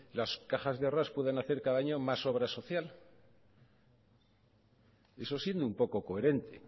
las cajas de ahorros puedan hacer cada año más obras sociales eso siendo un poco coherente